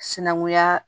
Sinankunya